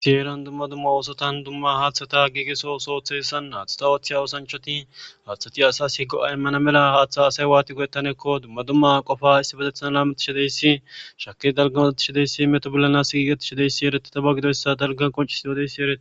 ieran dumma dumma oosotan dumma haaththata giigeso soothessan aathata wathe wosanchoti haaththati asasi go7a immana mela haaththa asay waati go7ettanekko dumma dumma qofa issi bozethan laametishideyssi shake dalgamazatishadeyssi meto bollanas sigigetishadeyssi eretitaba gidoyssa dalgan qoncis dodeyssi erete